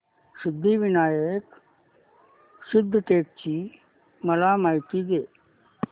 सिद्धिविनायक सिद्धटेक ची मला माहिती दे